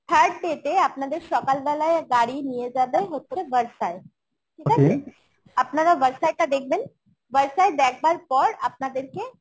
third day তে আপনাদের সকালবেলায় গাড়ি নিয়ে যাবে হচ্ছে ভর্সায় ঠিক আছে আপনারা ভর্সায় টা দেখবেন ভর্সায় দেখবার পর আপনাদেরকে